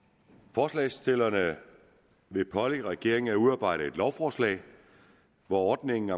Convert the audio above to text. forslagsstillerne vil pålægge regeringen at udarbejde et lovforslag hvor ordningen